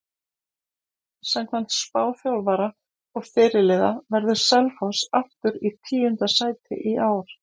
Samkvæmt spá þjálfara og fyrirliða verður Selfoss aftur í tíunda sæti í ár.